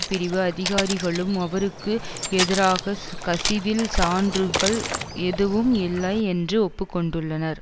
பிரிவு அதிகாரிகளும் அவருக்கு எதிராக கசிவில் சான்றுகள் எதுவும் இல்லை என்று ஒப்பு கொண்டுள்ளனர்